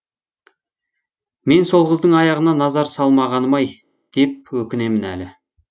мен сол қыздың аяғына назар салмағаным ай деп өкінемін әлі